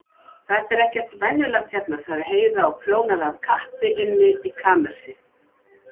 Þetta er ekkert venjulegt hérna, sagði Heiða og prjónaði af kappi inni í kamersi.